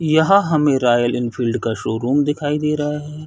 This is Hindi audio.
यहाँ हमें रॉयल एनफील्ड का शोरूम दिखाई दे रहा है।